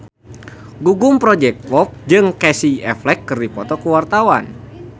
Gugum Project Pop jeung Casey Affleck keur dipoto ku wartawan